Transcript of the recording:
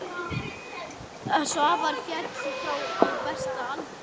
Svavar féll frá á besta aldri.